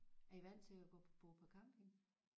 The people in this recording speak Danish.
Er I vant til at bo på camping?